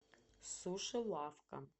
суши лавка